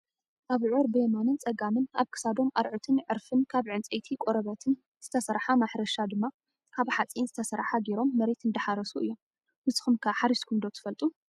ኣብዑር ብየማንን ፀጋምን ኣብ ክሳዶም አርዑትን ዕርፍን ካብ ዕንፀይቲ ቆርበትን ዝተሰረሓ ማሕረሻ ድማ ካብ ሓፂን ዝተሰረሓ ገይሮም መሬት እንዳሓረሱ እዮም። ንስኩም ከ ሓሪስኩም ዶ ትፈልጡ ?